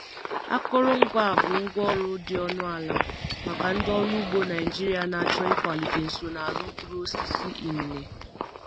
Akụrụngwa a bụ ngwá ọrụ dị ọnụ ala maka ndị ọrụ ugbo Naijiria na-achọ ịkwalite nsonaazụ mkpụrụ osisi inine.